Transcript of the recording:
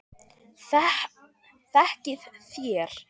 Þekkið þér